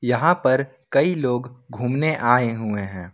यहां पर कई लोग घूमने आए हुए हैं।